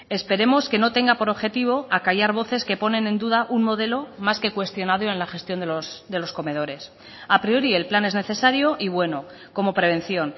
esperemos que no tenga por objetivo acallar voces que ponen en duda un modelo más que cuestionado en la gestión de los comedores a priori el plan es necesario y bueno como prevención